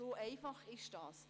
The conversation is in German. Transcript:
So einfach ist das.